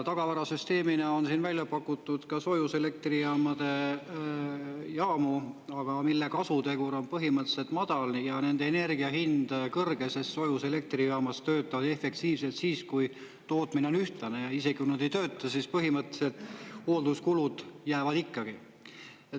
Tagavarasüsteemina on siin välja pakutud ka soojuselektrijaamu, aga mille kasutegur on põhimõtteliselt madal ja nende energia hind kõrge, sest soojuselektrijaamad töötavad efektiivselt siis, kui tootmine on ühtlane, ja isegi kui nad ei tööta, siis põhimõtteliselt hoolduskulud jäävad ikkagi.